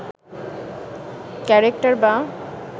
character বা